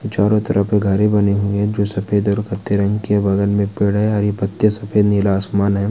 चारों तरफ घरे बनी हुई हैं फिर सफ़ेद और कत्थे रंग की है| बगल में एक पेड़ है हरी पत्ती है सफ़ेद-नीला आसमान है|